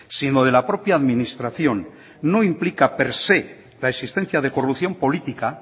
sino de la propia administración no implica per se la existencia de corrupción política